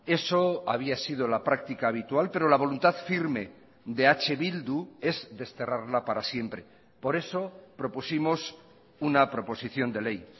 eso había sido la práctica habitual pero la voluntad firme de eh bildu es desterrarla para siempre por eso propusimos una proposición de ley